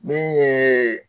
Min yeee